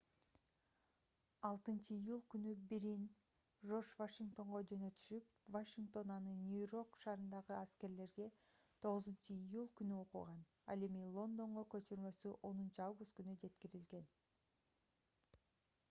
6-июль күнү бирин жорж вашингтонго жөнөтүшүп вашингтон аны нью-йорк шаарындагы аскерлерге 9-июль күнү окуган ал эми лондонго көчүрмөсү 10-август күнү жеткирилген